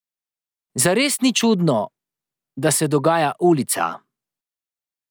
Zares ni čudno, da se dogaja ulica.